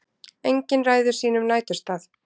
Engin ræður sínum næturstað.